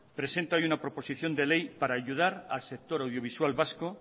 presenta hoy una proposición de ley para ayudar al sector audiovisual vasco